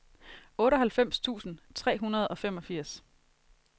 otteoghalvfems tusind tre hundrede og femogfirs